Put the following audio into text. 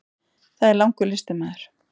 Það er langur listi maður.